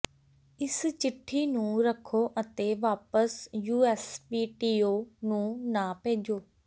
ਇਸ ਚਿੱਠੀ ਨੂੰ ਰੱਖੋ ਅਤੇ ਵਾਪਸ ਯੂਐਸਪੀਟੀਓ ਨੂੰ ਨਾ ਭੇਜੋ